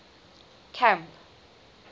camp